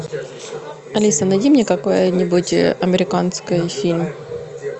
алиса найди мне какой нибудь американский фильм